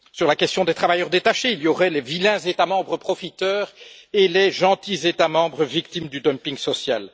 Sur la question des travailleurs détachés, il y aurait les vilains États membres profiteurs, et les gentils États membres victimes du dumping social.